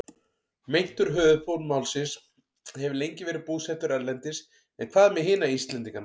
Meintur höfuðpaur málsins hefur lengi verið búsettur erlendis en hvað með hina Íslendingana?